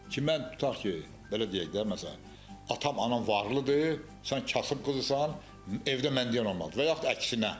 Ki mən tutaq ki, belə deyək də, məsələn, atam, anam varlıdır, sən kasıb qızısan, evdə mən deyən olmalıdır, və yaxud əksinə.